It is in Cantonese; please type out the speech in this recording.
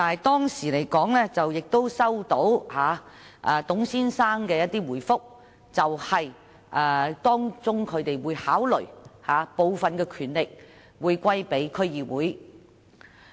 當時，我收到董先生的回覆，指他們會考慮將部分權力轉授區議會。